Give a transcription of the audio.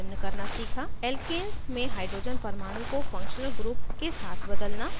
* alkanes में hydrogen परमाणु को functional group के साथ बदलना